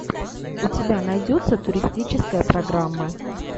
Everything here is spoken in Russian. у тебя найдется туристическая программа